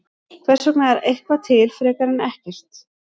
Hvers vegna er eitthvað til frekar en ekkert?